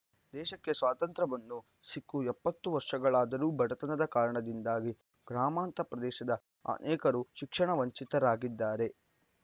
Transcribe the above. ದೇಶಕ್ಕೆ ಸ್ವಾತಂತ್ರ್ಯ ಬಂದು ಸಿಕ್ಕು ಎಪ್ಪತ್ತು ವರ್ಷಗಳದರೂ ಬಡತನದ ಕಾರಣದಿಂದಾಗಿ ಗ್ರಾಮಾಂತರ ಪ್ರದೇಶದ ಅನೇಕರು ಶಿಕ್ಷಣ ವಂಚಿತರಾಗಿದ್ದಾರೆ